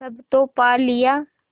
सब तो पा लिया